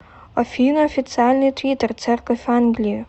афина официальный твиттер церковь англии